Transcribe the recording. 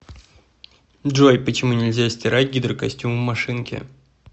джой почему нельзя стирать гидрокостюм в машинке